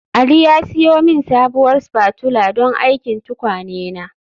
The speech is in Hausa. Ali ya siyo min sabuwar spatula don aikin tukwane na